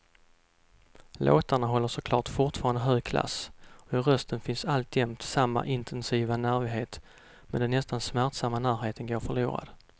Låtarna håller såklart fortfarande hög klass och i rösten finns alltjämt samma intensiva nervighet, men den nästan smärtsamma närheten går förlorad.